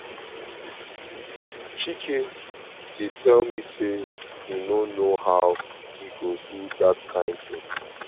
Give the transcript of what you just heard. chike dey tell me say he no know how he go do dat kin thing